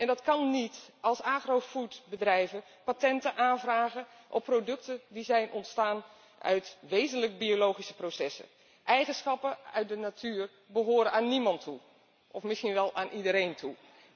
En dat kan niet als agrofood bedrijven patenten aanvragen op producten die zijn ontstaan uit wezenlijk biologische processen. Eigenschappen uit de natuur behoren aan niemand of misschien wel aan iedereen toe.